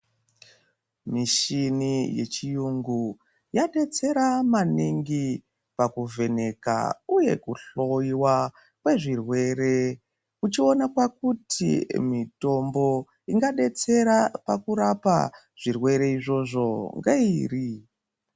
Mishini yechiyungu yadetsera maningi pakuvheneka uye kuhloyiwa kwezvirwere uchiona pakuti mitombo ingadetsera pakurapwa zvirwere izvozvo ngeiri.